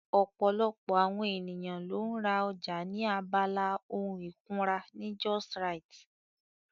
Ọ̀pọ̀lọpọ̀ àwọn ènìyàn ló ń ra ọjà ní abala ohun ìkunra ní justrite